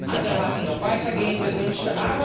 Andere hatten noch weitergehende Wünsche.